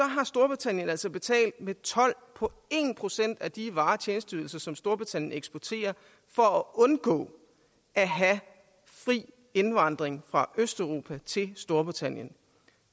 har storbritannien altså betalt med told på en procent af de varer og tjenesteydelser som storbritannien eksporterer for at undgå at have fri indvandring fra østeuropa til storbritannien